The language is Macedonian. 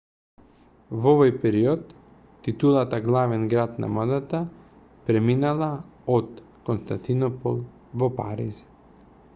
во овој период титулата главен град на модата преминала од константинопол во париз